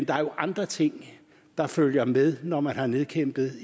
der er andre ting der følger med når man har nedkæmpet